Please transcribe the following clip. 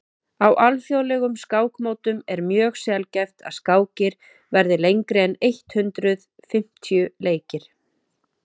á alþjóðlegum skákmótum er mjög sjaldgæft að skákir verði lengri en eitt hundruð fimmtíu leikir